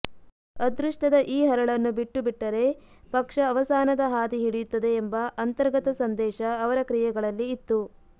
ಅದೃಷ್ಟದ ಈ ಹರಳನ್ನು ಬಿಟ್ಟುಬಿಟ್ಟರೆ ಪಕ್ಷ ಅವಸಾನದ ಹಾದಿ ಹಿಡಿಯುತ್ತದೆ ಎಂಬ ಅಂತರ್ಗತ ಸಂದೇಶ ಅವರ ಕ್ರಿಯೆಗಳಲ್ಲಿ ಇತ್ತು